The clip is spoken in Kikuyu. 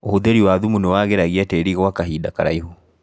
ũhũthĩri wa thumu nĩwagĩragia tĩri gwa kahinda karaihu.